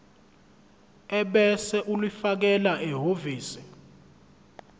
ebese ulifakela ehhovisi